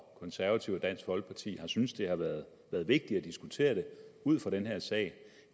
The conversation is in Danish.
konservative og dansk folkeparti har syntes det har været vigtigt at diskutere det ud fra den her sag